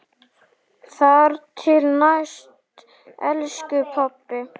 Þar til næst, elsku pabbi.